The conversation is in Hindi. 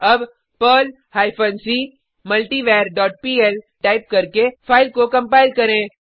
अब Perl hyphen C multiver dot PL type करके फाइल को कंपाइल करें